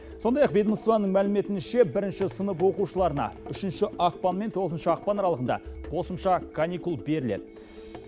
сондай ақ ведомствоның мәліметінше бірінші сынып оқушыларына үшінші ақпан мен тоғызыншы ақпан аралығында қосымша каникул беріледі